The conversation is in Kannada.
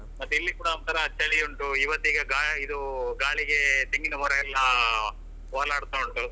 ಮತ್ತೆ ಇಲ್ಲಿ ಕೂಡ ಒಂತರ ಚಳಿ ಉಂಟು ಇವತ್ತಿಗೆ ಗಾ~ ಇದು ಗಾಳಿಗೆ ತೆಂಗಿನ ಮರಯೆಲ್ಲಾ ಒಳಾಡ್ತಾ ಉಂಟು.